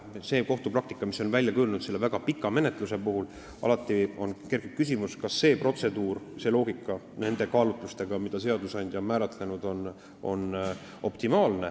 Selle väga pika menetluse puhul väljakujunenud kohtupraktika tekitab alati küsimuse, kas see protseduur on optimaalne, kas see loogika vastab nendele kaalutlustele, mida seadusandja on silmas pidanud.